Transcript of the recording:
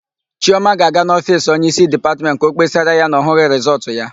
Chiọma ga-aga n'ofiisi onyeísí Dipatmentị ka ọ kpesara ya na ọ hụghị rịsọọtụ ya.